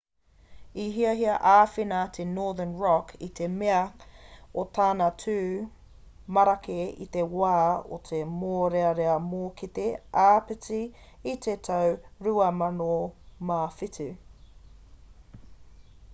i hiahia āwhina a northern rock i te mea o tana tū marake i te wā o te mōrearea mōkete āpiti i te tau 2007